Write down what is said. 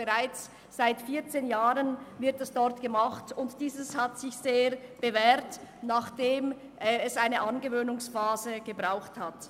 Bereits seit 14 Jahren wird das dort gemacht, und es hat sich bewährt, nachdem es einer Angewöhnungsphase bedurfte.